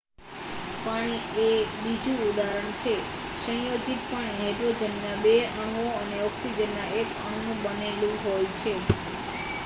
પાણી એ બીજું ઉદાહરણ છે સંયોજિત પાણી હાઈડ્રોજનનાં 2 અણુઓ અને ઓક્સિજનનાં 1 અણુનું બનેલું હોય છે